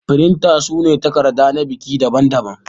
Firinta su na takarda na biki daɓan daɓan.